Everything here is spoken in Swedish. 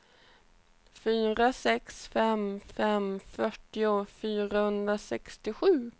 fyra sex fem fem fyrtio fyrahundrasextiosju